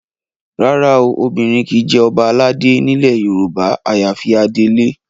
Rárá o, obìnrin kì í jẹ ọba aládé nílẹ̀ Yorùbá àyàfi adelé